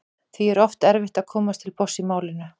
Því er oft erfitt að komast til botns í málinu.